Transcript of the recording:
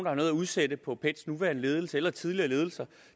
har noget at udsætte på pets nuværende ledelse eller tidligere ledelser